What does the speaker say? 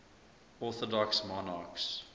orthodox monarchs